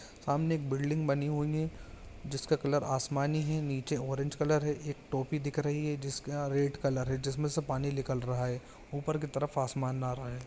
सामने एक बिल्डिंग बनी हुई है जिसका कलर आसमानी हैं नीचे ऑरेंज कलर है एक टोपी दिख रही है जिसका रेड कलर है जिसमे से पानी निकल रहा है ऊपर की तरफ आसमान आ रहा है।